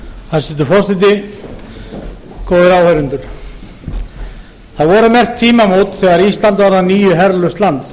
hæstvirtur forseti góðir áheyrendur það voru merk tímamót þegar ísland varð að nýju herlaust land